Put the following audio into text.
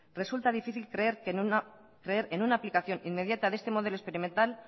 resulta difícil creer en una aplicación inmediata de este modelo experimental